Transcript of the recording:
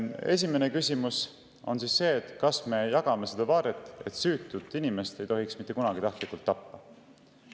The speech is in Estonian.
Esimene küsimus on see, kas me jagame seda vaadet, et süütut inimest ei tohiks mitte kunagi tahtlikult tappa.